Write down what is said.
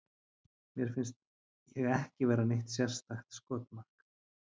Mér finnst ég ekki vera neitt sérstakt skotmark.